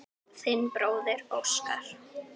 Þinn bróðir Óskar.